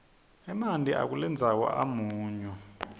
emanti akulendzawo amunyu